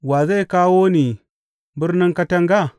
Wa zai kawo ni birnin katanga?